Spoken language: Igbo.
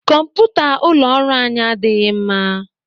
Kọmputa ụlọ ọrụ anyị adịghị mma.